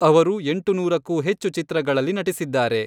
ಅವರು ಎಂಟುನೂರಕ್ಕೂ ಹೆಚ್ಚು ಚಿತ್ರಗಳಲ್ಲಿ ನಟಿಸಿದ್ದಾರೆ.